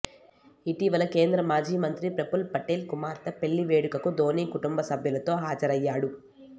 ఇటీవల కేంద్ర మాజీ మంత్రి ప్రఫుల్ పటేల్ కుమార్తె పెళ్లి వేడుకకు ధోని కుటుంబసభ్యులతో హాజరయ్యాడు